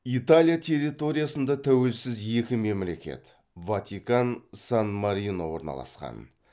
италия территориясында тәуелсіз екі мемлекет орналасқан